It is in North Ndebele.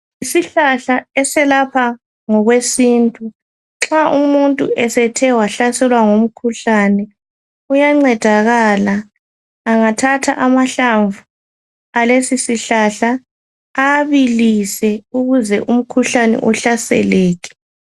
Isihlahla eselapha ngokwesintu nxa umuntu esethe wahlaselwa ngumkhuhlane uyancedakala angathatha amahlamvu alesisihlahla awabilise ukuze umkhuhlane uhlaseleke.